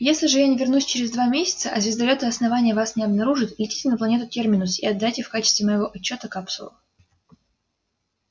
если же я не вернусь через два месяца а звездолёты основания вас не обнаружат летите на планету терминус и отдайте в качестве моего отчёта капсулу